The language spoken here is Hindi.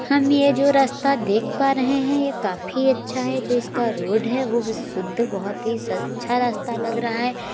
हम ये जो रास्ता देख पा रहे है। यह काफी अच्छा है जो इसका रोड है। वो भी शुद्ध बहोत ही स अच्छा रास्ता लग रहा है।